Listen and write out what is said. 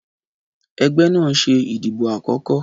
Ẹgbẹ́ náà ń ṣe ìdìbò àkọ́kọ́.